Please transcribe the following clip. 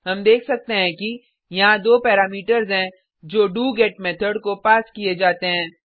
हम देख सकते हैं कि यहाँ दो पैरामीटर्स हैं जो डोगेट मेथड को पास किये जाते हैं